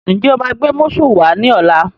Ǹjẹ́ o máa gbé músù wá ní ọ̀la?